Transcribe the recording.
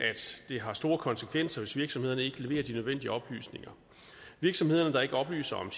det har store konsekvenser hvis virksomhederne ikke leverer de nødvendige oplysninger virksomheder der ikke oplyser om